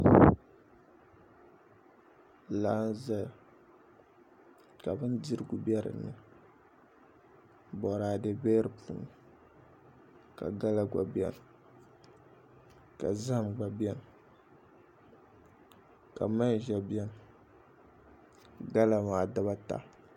Laa n ʒɛya ka bindirigu bɛ dinni boraadɛ bɛ di puuni ka gala gba bɛni ka zaham gba bɛni ka manʒa bɛni gala maa dibata